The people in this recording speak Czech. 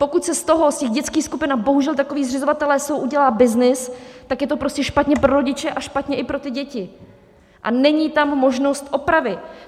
Pokud se z toho, z těch dětských skupin - a bohužel, takoví zřizovatelé jsou - udělá byznys, tak je to prostě špatně pro rodiče a špatně i pro ty děti a není tam možnost opravy.